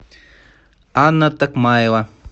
анна токмаева